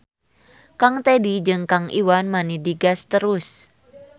Kang Tedi jeung Kang Iwan mani digas terus.